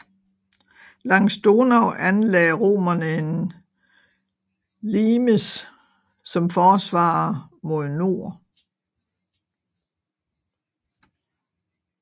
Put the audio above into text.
Langs Donau anlagde romerne en limes som forsvar mod nord